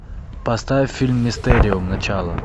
поставь фильм мистериум начало